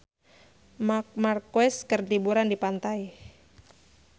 Marc Marquez keur liburan di pantai